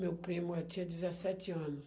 Meu primo, eh, tinha dezesssete anos.